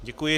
Děkuji.